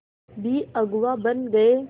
भी अगुवा बन गए